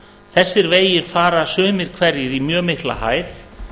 þessir vegir fara sumir hverjir í mjög mikla hæð